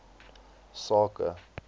sake